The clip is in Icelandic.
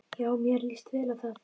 Já, mér líst vel á það.